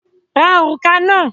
Ra òrùka náà!